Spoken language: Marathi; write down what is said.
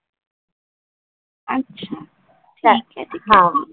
अच्छा ठीक आहे ठीक आहे.